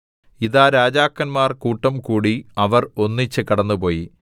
ഇതാ രാജാക്കന്മാർ കൂട്ടംകൂടി അവർ ഒന്നിച്ച് കടന്നുപോയി